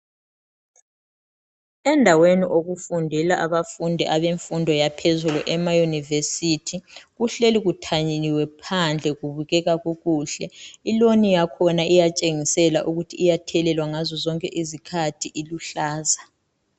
Endaweni okufundela abafundi abenfundo yaphezulu emauniversity .Kuhleli kuthanyeliwe phandle kubukeka kukuhle ,iloni yakhona iyatshengisela ukuthi iyathelelwa ngazo zonke izikhathi, iluhlaza.